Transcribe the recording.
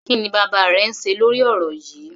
Kí ni bàbá rẹ ń ṣe lórí ọ̀rọ̀ yíì?